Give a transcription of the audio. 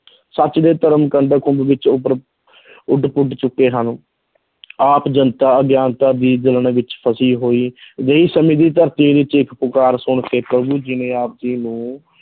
ਸੱਚ ਤੇ ਧਰਮ ਵਿੱਚ ਉੱਭਰ ਉੱਡ ਪੁੱਡ ਚੁੱਕੇ ਹਨ ਆਪ ਜਨਤਾ ਅਗਿਆਨਤਾ ਦੀ ਵਿੱਚ ਫ਼ਸੀ ਹੋਈ ਸਮੇਂ ਦੀ ਧਰਤੀ ਦੀ ਚੀਖ ਪੁਕਾਰ ਸੁਣ ਕੇ ਜੀ ਨੇ ਆਪ ਜੀ ਨੂੰ